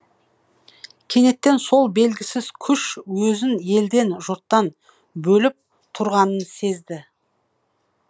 кенеттен ол белгісіз күш өзін елден жұрттан бөліп тұрғанын сезді